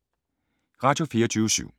Radio24syv